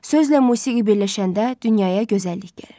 Sözlə musiqi birləşəndə dünyaya gözəllik gəlir.